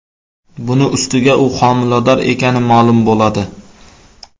Buning ustiga, u homilador ekani ma’lum bo‘ladi.